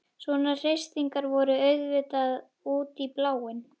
Svona heitstrengingar voru auðvitað út í bláinn.